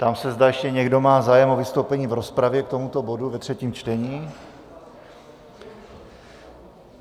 Ptám se, zda ještě někdo má zájem o vystoupení v rozpravě k tomuto bodu ve třetím čtení.